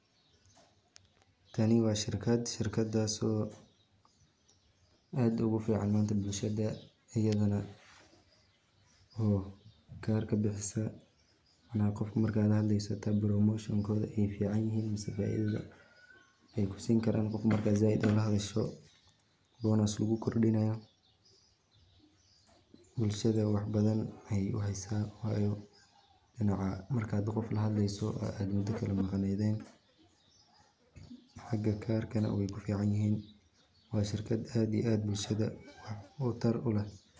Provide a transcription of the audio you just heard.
Tani waa shirkad, shirkadasii oo aad ogu fican manta bulshada ayadana karka bixiso cala qof marka lahadleyso hata promotionkoda ay fican yehe mase faa'iidada ay kusin karaan qof marka zaaid ola hadasho, bonus[cs[lugu kordinayo, bulshada wax badan ayay uhaysa wayo markad qof lahadleyso od muda laga maqneyden xaga karkana way kufican yihiin, waa shirkad aad iyo aad bulshada waxtar u leh